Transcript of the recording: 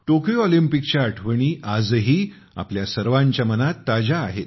Tokyo ऑलिम्पिकच्या आठवणी आजही आपल्या सर्वांच्या मनात ताज्या आहेत